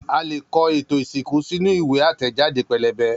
A leè kọ ètò ìsìnkú sínú ìwé àtẹ̀jáde pẹ́lẹ́bẹ́